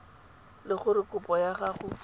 le gore kopo ya gago